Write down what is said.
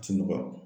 Ti nɔgɔya